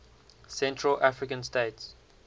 central african states